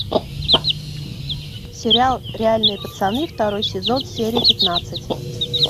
сериал реальные пацаны второй сезон серия пятнадцать